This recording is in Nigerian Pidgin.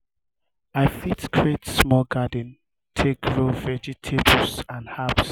we fit create small garden um take grow vegetables and herbs.